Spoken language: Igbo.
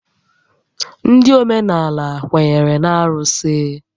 Ndị óménàlà kwenyere na arụsị